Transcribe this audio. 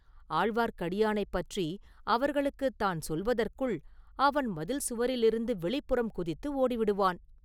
ஆழ்வார்க்கடியானைப் பற்றி அவர்களுக்குத் தான் சொல்வதற்குள் அவன் மதில் சுவரிலிருந்து வெளிப்புறம் குதித்து ஓடிவிடுவான்.